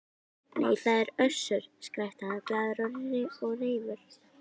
Nei, það er Össur, skrækti hann glaður og reifur.